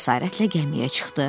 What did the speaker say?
Cəsarətlə gəmiyə çıxdı.